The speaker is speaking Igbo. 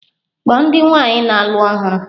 Kpọọ ndị nwaanyị na-alụ ọhụrụ!